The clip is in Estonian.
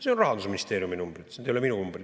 See on Rahandusministeeriumi number, see ei ole minu number.